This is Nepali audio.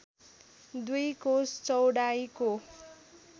दुई कोस चौडाइको